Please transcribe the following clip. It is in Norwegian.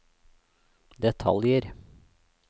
detaljer